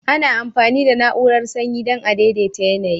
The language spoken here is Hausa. Ana amfani da na'urar sanyi dan a daidaita yanayi.